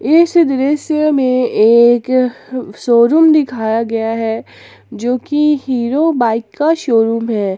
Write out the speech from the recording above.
इस दृश्य में एक शोरूम दिखाया गया है जो कि हीरो बाइक का शोरूम है।